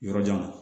Yɔrɔjan wa